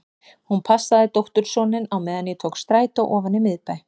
Hún passaði dóttursoninn á meðan ég tók strætó ofan í miðbæ.